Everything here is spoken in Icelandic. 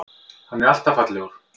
Hann er alltaf fallegur.